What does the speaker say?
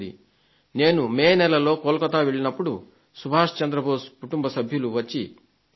నేను మే నెలలో కోల్కతా కు వెళ్లినప్పుడు శ్రీ సుభాష్ చంద్ర బోస్ కుటుంబ సభ్యులు వచ్చి కలిశారు